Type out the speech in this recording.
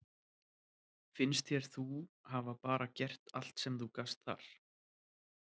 Finnst þér þú hafa bara gert allt sem þú gast þar?